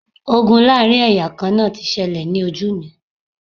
Ogun láàrin ẹ̀yà kan náà ti ṣẹlẹ̀ ní ojú mi